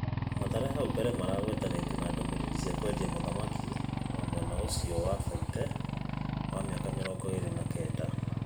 Mathare hau mbere maragwetanĩtio na ndũmĩrĩri cia kwenda mũthaki wa mwena ũcio wa Baite, wa mĩaka mĩrongo ĩrĩ na kenda.